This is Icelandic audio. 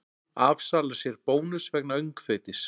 Afsalar sér bónus vegna öngþveitis